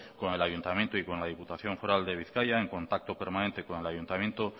con el ayuntamiento y con la diputación foral de bizkaia en contacto permanente con el ayuntamiento